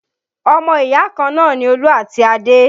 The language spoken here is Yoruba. Ọmọ ìyá kan náà ni Olú àti Adé